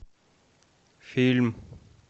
фильм